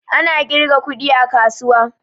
Ana ƙirgan kuɗi a kasuwa